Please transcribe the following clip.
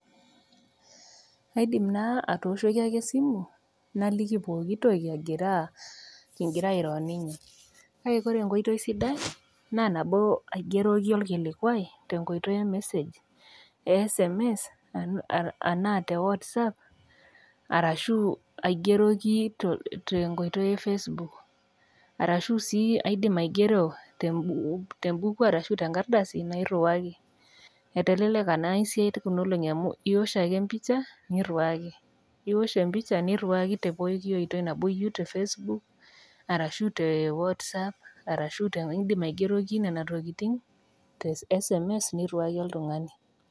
Aidim naa atooshoki ake esimu naliki pooki toki agiraa kingira airo ninye. Kake kore enkoitoi sidai naa tenaigeroki ake olkilikua tenkoitoi e sms anaa te Whatsapp arashu aigeroki te enkoitoi e Facebook, arashu siiaidim sii aigero tembuku arashu te enkardasi nairuwaki. Eteleleka naa esiai Kuna olong'i amu iosh ake empisha niriwaki. Iosh empisha niriwaki te pooki oitoi, nabo iyou te Facebook arashu te Whatsapp arashu indim aigeroki Nena tokitin te sms nairuwaki oltang'ani.